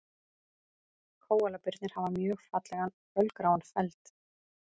Kóalabirnir hafa mjög fallegan fölgráan feld.